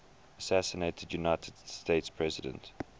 assassinated united states presidents